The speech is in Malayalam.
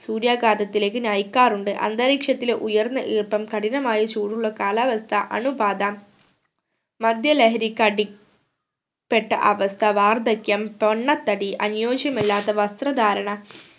സൂര്യാഘാതത്തിലേക്ക് നയിക്കാറുണ്ട് അന്തരീഷത്തിലെ ഉയർന്ന ഈർപ്പം കഠിനമായ ചൂടുള്ള കാലാവസ്ഥ അണുബാധ മദ്യലഹരിക്ക് അടി പ്പെട്ട അവസ്ഥ വാർദ്ധക്യം പൊണ്ണത്തടി അനുയോജ്യമല്ലാത്ത വസ്ത്രധാരണ